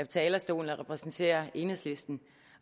talerstolen og repræsenterer enhedslisten